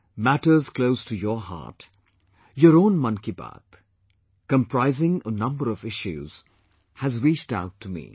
Matters close to your heart; your own Mann Ki Baat, comprising a number of issues has reached out to me